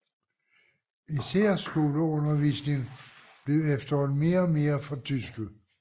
Især skoleundervisningen blev efterhånden mere og mere fortysket